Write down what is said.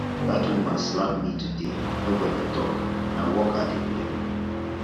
dat woman slap me today nobody talk na work i dey blame